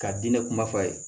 Ka diinɛ kuma f'a ye